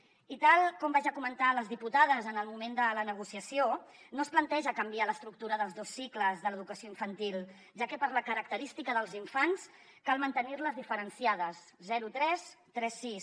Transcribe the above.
i tal com vaig ja comentar a les diputades en el moment de la negociació no es planteja canviar l’estructura dels dos cicles de l’educació infantil ja que per la característica dels infants cal mantenir los diferenciats zero tres tres sis